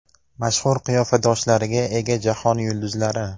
Mashhur qiyofadoshlariga ega jahon yulduzlari .